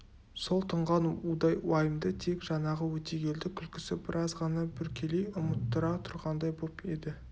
сол тұнған удай уайымды тек жаңағы өтегелді күлкісі біраз ғана бүркелей ұмыттыра тұрғандай боп еді